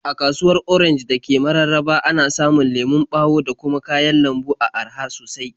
A sabuwar kasuwar Orenj da ke Mararaba, ana samun lemon ɓawo da kuma kayan lambu a araha sosai.